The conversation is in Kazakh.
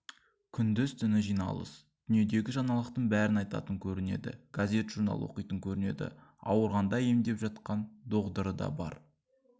күндіз-түні жиналыс дүниедегі жаңалықтың бәрін айтатын көрінеді газет-журнал оқитын көрінеді ауырғанды емдеп жатқан доғдыры да бар